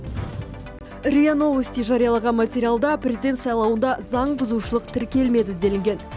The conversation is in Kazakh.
риа новости жариялаған материалда президент сайлауында заң бұзушылық тіркелемеді делінген